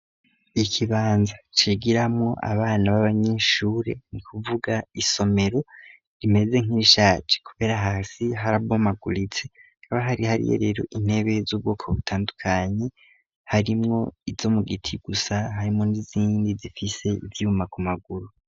Ikibanza cigiramwo abana b'abanyinshure nu kuvuga isomero rimeze nk'ishaje, kubera hasi haraboma aguritse kaba hari hariye rero intebe z'ubwoko butandukanyi harimwo izo mu giti gusa hayimondi zindi zifise ivyuma ku maguru.